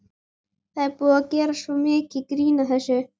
Það er búið að gera svo mikið grín að þessu.